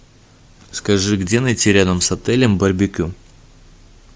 скажи где найти рядом с отелем барбекю